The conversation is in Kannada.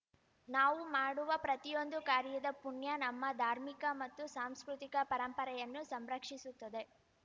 ನಾವು ಮಾಡುವ ಪ್ರತಿಯೊಂದು ಕಾರ್ಯದ ಪುಣ್ಯ ನಮ್ಮ ಧಾರ್ಮಿಕ ಮತ್ತು ಸಾಂಸ್ಕೃತಿಕ ಪರಂಪರೆಯನ್ನು ಸಂರಕ್ಷಿಸುತ್ತದೆ